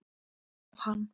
Ef hann